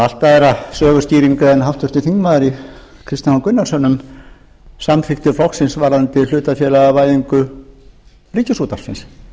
allt aðra söguskýringu en háttvirtur þingmaður kristinn h gunnarsson um samþykktir flokksins varðandi hlutafélagavæðingu ríkisútvarpsins